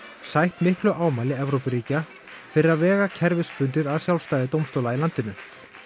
sætt miklu ámæli Evrópuríkja fyrir að vega kerfisbundið að sjálfstæði dómstóla í landinu